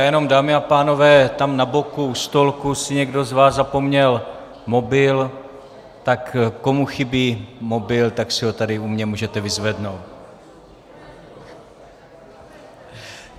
Já jenom, dámy a pánové, tam na boku u stolku si někdo z vás zapomněl mobil, tak komu chybí mobil, tak si ho tady u mě můžete vyzvednout.